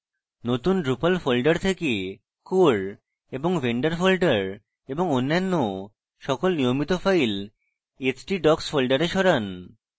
নতুন drupal folder থেকে core এবং vendor folder এবং অন্যান্য সকল নিয়মিত files htdocs folder সরান